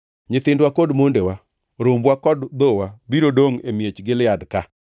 Nyithindwa kod mondewa, rombwa kod dhowa biro dongʼ e miech Gilead ka.